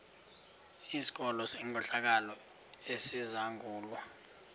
sikolo senkohlakalo esizangulwa